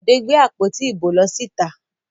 Bọ̀dé gbé àpótí ìbò lọ síta.